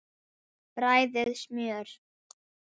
Bræðið smjör.